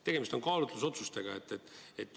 Tegemist on kaalutlusotsusega.